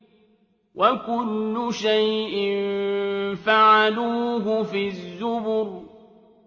وَكُلُّ شَيْءٍ فَعَلُوهُ فِي الزُّبُرِ